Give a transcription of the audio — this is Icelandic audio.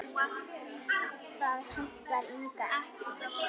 Það hentaði Inga ekki.